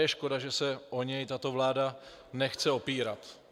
Je škoda, že se o něj tato vláda nechce opírat.